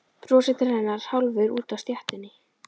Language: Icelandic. Brosir til hennar hálfur úti á stéttinni.